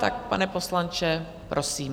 Tak, pane poslanče, prosím.